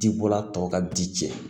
Dibɔla tɔw ka di cɛ